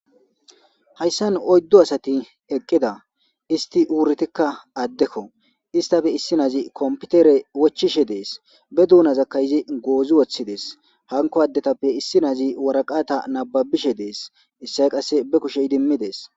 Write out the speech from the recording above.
Haysan oydu asati eqida isti wuridika addeko istape issinazi computere wochishe de'es ba duunaka izi goozi wothides hanko addetape issinazi worakata nababishe de'es isoy kaseka ba kushe idimides.